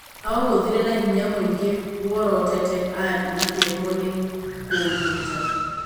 Aũgũthire na hinya mũingĩ worotete Ali akĩremwo nĩ kũũnyita.